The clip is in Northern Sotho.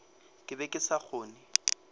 ke be ke sa kgone